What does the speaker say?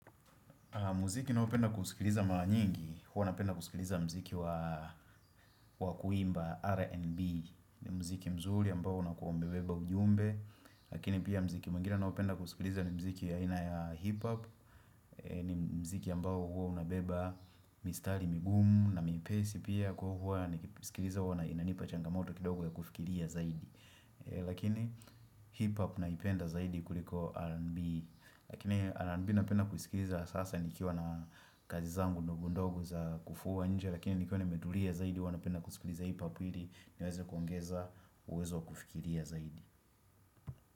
Muziki ninaopenda kusikiliza mara nyingi, huwa napenda kusikiliza mziki wa kuimba R&B. Ni mziki mzuri ambao unakuwa umebeba ujumbe, lakini pia mziki mwingine nao penda kusikiliza ni mziki ya aina ya hip hop, ni mziki ambao hua unabeba mistari migumu na myepesi pia kwa hivyo nikiusikiliza huwa inanipa changamoto kidogo ya kufikilia zaidi, lakini hip hop naipenda zaidi kuliko R&B, Lakini R&B napenda kusikiliza hasa nikiwa na kazi zangu ndogo ndogo za kufua nje lakini nikiwa nimetulia zaidi huwa napenda kusikiliza hip hop ili niweze kuongeza uwezo kufikiria zaidi.